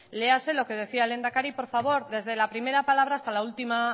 léase lo que decía el lehendakari por favor desde la primera palabra